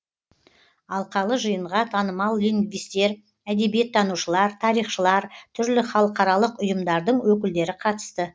алқалы жиынға танымал лингвистер әдебиеттанушылар тарихшылар түрлі халықаралық ұйымдардың өкілдері қатысты